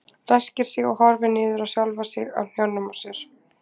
Ræskir sig og horfir niður á sjálfa sig á hnjánum á sér.